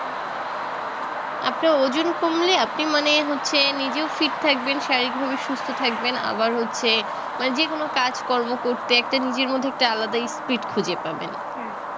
আপনার ওজন কমলে আপনি মানে হচ্ছে নিজেও fit থাকবেন শারীরিকভাবে সুস্থ থাকবেন আবার হচ্ছে মানে যেকোনো কাজ কর্ম করতে একটা নিজের মধ্যে একটু আলাদাই speed খুঁজে পাবেন